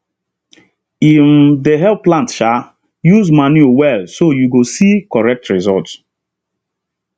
e um dey help plant um use manuure well so you go see correct result